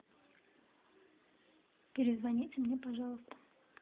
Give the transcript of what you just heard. перезвоните мне пожалуйста